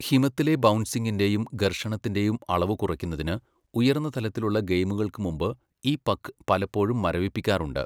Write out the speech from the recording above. ഹിമത്തിലെ ബൗൻസിങിൻ്റേയും ഘർഷണത്തിൻ്റേയും അളവ് കുറയ്ക്കുന്നതിന് ഉയർന്ന തലത്തിലുള്ള ഗെയിമുകൾക്ക് മുമ്പ് ഈ പക്ക് പലപ്പോഴും മരവിപ്പിക്കാറുണ്ട്.